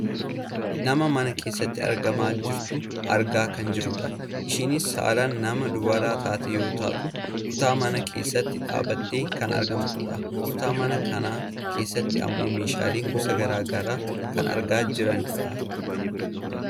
Nama mana keessatti argamaa jirtu argaa kan jirrudha. Isheenis saalaan nama dubara taate yoo taatu kutaa manaa keessatti dhaabbattee kan argamtudha. Kutaa mana kanaa keessatti ammoo meeshaalee gosa gara garaa argamaa kan jiranidha.